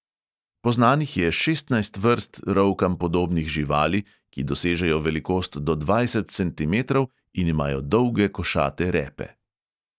Poznanih je šestnajst vrst rovkam podobnih živali, ki dosežejo velikost do dvajset centimetrov in imajo dolge košate repe.